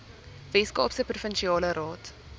weskaapse provinsiale raad